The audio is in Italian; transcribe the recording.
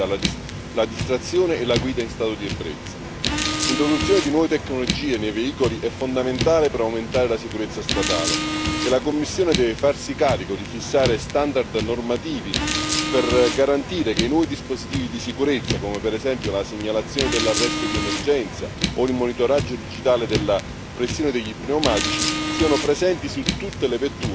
L'introduzione di nuove tecnologie nei veicoli è fondamentale per aumentare la sicurezza stradale e la Commissione deve farsi carico di fissare standard normativi per garantire che i nuovi dispositivi di sicurezza, come per esempio la segnalazione dell'arresto di emergenza o il monitoraggio digitale della pressione degli pneumatici, siano presenti su tutte le vetture di serie, senza costi aggiuntivi per i consumatori.